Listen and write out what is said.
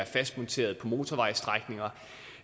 fast monteret på motorvejsstrækninger